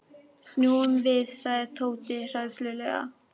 Snúum við sagði Tóti hræðslulega.